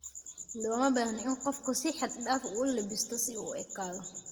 Looma baahna in qofku si xad dhaaf ah u labbisto si uu u ekaado